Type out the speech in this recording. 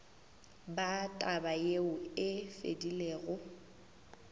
ba taba yeo e fedilego